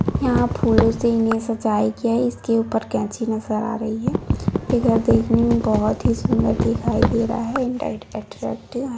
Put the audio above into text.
यहां फूलों से इन्हे सजाया गया है। इसके ऊपर कैंची नजर आ रही है। ये घर दिखने में बहुत ही सुंदर दिखाई दे रहा है। अट्रैक्टिव है।